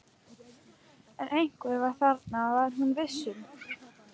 En einhver var þarna, það var hún viss um.